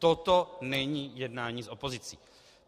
Toto není jednání s opozicí.